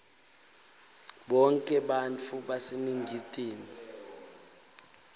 bonkhe bantfu baseningizimu